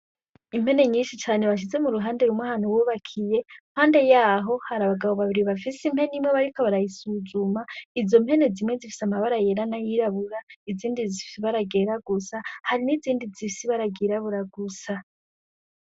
Impene nyishi cane bashize m'uruhande rumwe ahantu bubakiye impande yaho hari abagabo babiri bafise impene imwe bariko barayisuzuma ,Izo mpene zimwe ifise amabara yera n'ayirabura izindi zifise ibara ryera gusa hari nizindi zifise ibara ry'irabura gusa